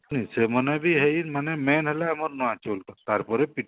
ହଁ ସେମାନେ ବି ଏଇ ମାନେ main ହେଲା ଆମର ନୂଆ ଚୁଉଲ ତାର ପରେ